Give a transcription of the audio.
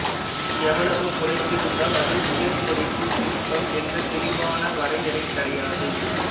எவ்வளவு புடைத்திருந்தால் அது உயர் புடைப்புச் சிற்பம் என்று தெளிவான வரையறை கிடையாது